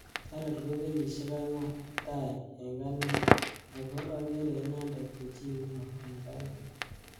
Jorel ko kenyieshek. angwan tai eng ane ako akerei inendet ko chi neo eng ane.